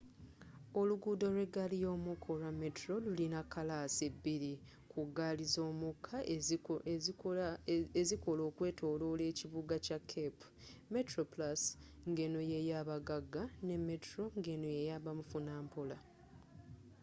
oluguudo lwegaali ymukka olwa metro lulina kkalaasi bbiri ku gaali zomukka ezikolera okwetolola ekibuga kya cape: metroplusngeno yeyabagagga ne metro ng’eno yabamufunampola